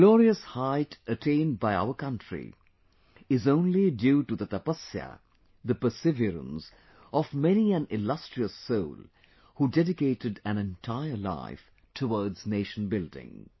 The glorious height attained by our country is only due to the Tapasya, the perseverance of many an illustrious soul who dedicated an entire life towards nation building